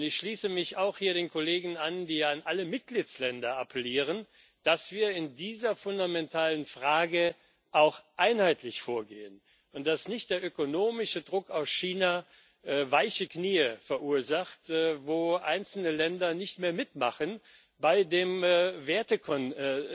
Und ich schließe mich auch hier den Kollegen an, die an alle Mitgliedsländer appellieren, dass wir in dieser fundamentalen Frage auch einheitlich vorgehen, und dass nicht der ökonomische Druck aus China weiche Knie verursacht, wo einzelne Länder nicht mehr mitmachen bei dem Wertekonsens,